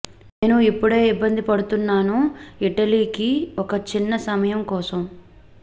నేను ఇప్పుడే ఇబ్బంది పడుతున్నాను ఇటలీకి ఒక చిన్న సమయం కోసం